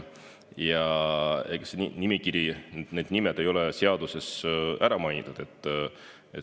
See nimekiri, need nimed ei ole seaduses ära mainitud.